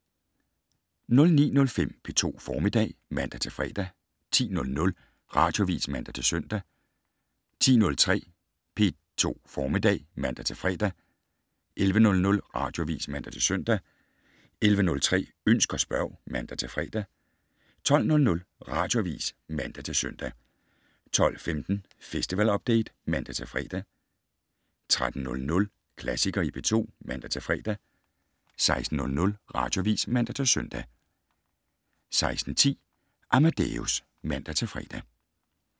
09:05: P2 Formiddag (man-fre) 10:00: Radioavis (man-søn) 10:03: P2 Formiddag (man-fre) 11:00: Radioavis (man-søn) 11:03: Ønsk og spørg (man-fre) 12:00: Radioavis (man-søn) 12:15: Festival Update (man-fre) 13:00: Klassikere i P2 (man-fre) 16:00: Radioavis (man-søn) 16:10: Amadeus (man-fre)